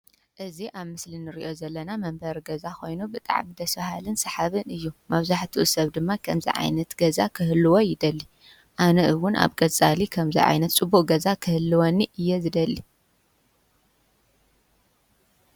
እዚ ኣብ ምስሊ እንሪኦ ዘለና መንበሪ ገዛ ኮይኑ ብጣዕሚ ደስ በሃልን ሰሓብን እዩ፡፡ መበዛሕትኡ ሰብ ድማ ከምዚ ዓይነት ገዛ ክህልዎ ይደሊ፡፡ ኣነ እውን ኣብ ቀፃሊ ከምዚ ዓይነት ፅቡቅ ገዛ ክህልወኒ እየ ዝደሊ፡፡